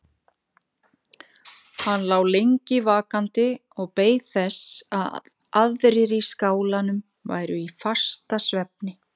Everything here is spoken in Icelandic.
Hann lá lengi vakandi og beið þess að aðrir í skálanum væru í fastasvefni.